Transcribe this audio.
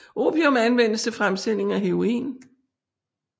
Opium anvendes til fremstillingen af heroin